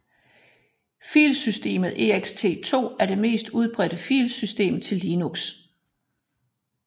Filsystemet ext2 er det mest udbredte filsystem til Linux